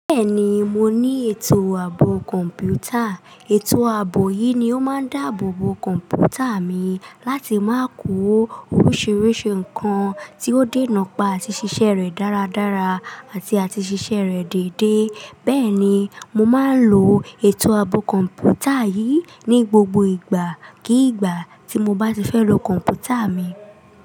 Bẹ́ẹ̀ni, mo ní ètò àbọ̀ kọ̀ǹpútà. Ètò àbọ̀ yìí ni ó máa ń dáàbò bo kọ̀ǹpútà mi láti má kó oríṣiríṣi nǹkan tí ó dé nà pá àti ṣiṣẹ́ rẹ̀ dáradára àti àti ṣiṣẹ́ rẹ̀ deédé. Bẹ́ẹ̀ ni, mo máa ń lo ètò àbọ̀ kọ̀ǹpútà yìí ní gbogbo ìgbà kí ìgbà tí mo bá ti fẹ́ lo kọ̀ǹpútà mi.